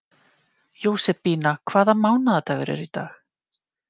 Jósebína, hvaða mánaðardagur er í dag?